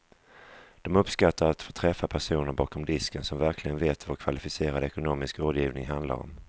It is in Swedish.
De uppskattar att få träffa personer bakom disken som verkligen vet vad kvalificerad ekonomisk rådgivning handlar om.